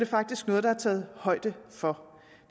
faktisk noget der er taget højde for